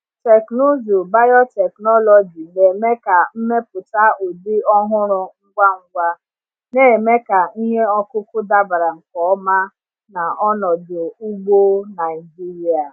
Teknụzụ biotechnology na-eme ka mmepụta ụdị ọhụrụ ngwa ngwa, na-eme ka ihe ọkụkụ dabara nke ọma na ọnọdụ ugbo Naijiria.